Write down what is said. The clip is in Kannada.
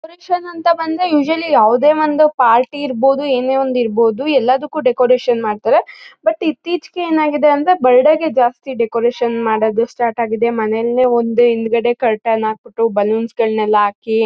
ಅಂತ ಬಂದ್ರೆ ಯುಸವಳ್ಳಿ ಯಾವದೇ ಒಂದು ಪಾರ್ಟಿ ಇರ್ಬಹುದು ಏನೆ ಒಂದ್ ಇರ್ಬಹುದು ಎಲ್ಲದಕ್ಕೂ ಡೆಕೋರೇಷನ್ ಮಾಡ್ತಾರೆ ಬಟ್ ಇತ್ತೀಚೆಗೆ ಏನಾಗತಿದೆ ಅಂದ್ರೆ ಬರ್ಡ್ಗೆ ಜಾಸ್ತಿ ಡೆಕೋರೇಷನ್ ಮಾಡೋದು ಸ್ಟಾರ್ಟ್ ಆಗಿದೆ ಮನೇಲೆ ಒಂದು ಹಿಂದ್ಗಡೆ ಕರ್ಟನ್ ಹಾಕ್ಬಿಟ್ಟು ಬಲೂನ್ಸ್ ಗಳನ್ನ ಎಲ್ಲಾ ಹಾಕಿ--